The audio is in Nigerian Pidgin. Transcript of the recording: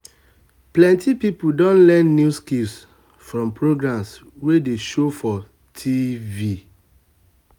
plenty people don learn new skills from programs wey dey show for tv